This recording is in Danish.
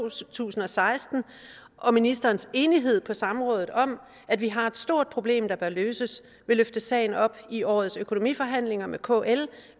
tusind og seksten og ministerens enighed på samrådet om at vi har et stort problem der bør løses vil løfte sagen op i årets økonomiforhandlinger med kl